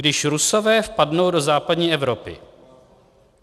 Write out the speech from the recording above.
"Když Rusové vpadnou do západní Evropy."